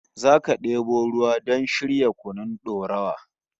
Zata debo ruwa don shirya kunun dorawa